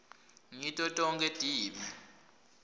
ngito tonkhe tibi